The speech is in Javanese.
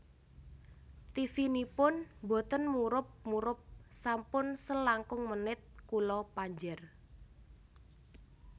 Tivinipun mboten murup murup sampun selangkung menit kula panjer